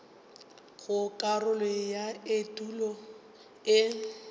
go karolo ya etulo e